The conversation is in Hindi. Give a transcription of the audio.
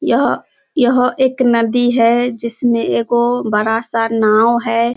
यह यह एक नदी है जिसमें एगो बड़ा सा नाव है।